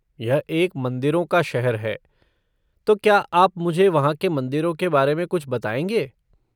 यह एक मंदिरों का शहर है, तो क्या आप मुझे वहाँ के मंदिरों के बारे में कुछ बताएँगे?